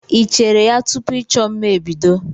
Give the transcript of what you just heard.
Ị cheere ya tupu ịchọ mma ebido?